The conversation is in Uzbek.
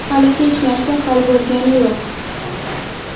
Hali hech narsa hal bo‘lgani yo‘q.